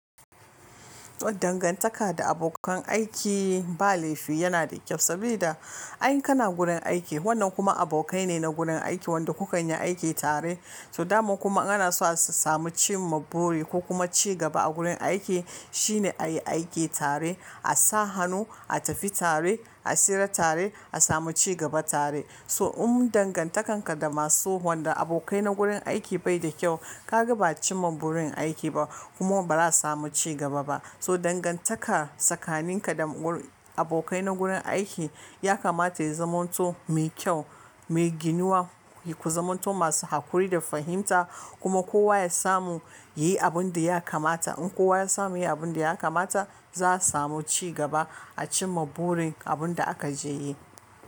Dangantaka da abokan aiki ba laifi yana da kyau saboda ai in kana gurin aiki wannan kuma abokai ne na gurin aiki wanda kuka yi aiki tare. So daman kuma ana so a samu cimma buri ko kuma ci gaba a gurin aiki shine a yi aiki tare, a sa hannu, a tafi tare, a tsira tare, a samu ci gaba tare. So in dangantakan ka da masu wanda abokai na gurin aiki bai da kyau ka ga ba a cimma burin aiki ba kuma ba za a samu ci gaba ba. So dangantaka tsakanin ka da abokai na gurin aiki ya kamata ya zama to mai kyau, mai ginuwa, ku zama tso masu haƙuri da fahimta kuma kowa ya samu ya yi abin da ya kamata. In kowa ya samu yayi abunda ya kamata, za a samu ci gaba acinma buri da akajeyi.